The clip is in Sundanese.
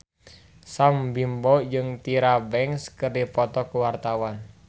Sam Bimbo jeung Tyra Banks keur dipoto ku wartawan